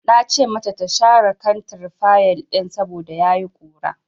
Na ce mata ta share kantar fayil ɗin saboda ya yi ƙura.